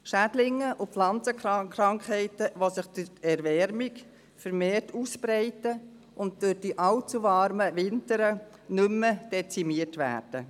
Es gibt Schädlinge und Pflanzenkrankheiten, die sich durch die Erwärmung vermehrt ausbreiten und durch die allzu warmen Winter nicht mehr dezimiert werden.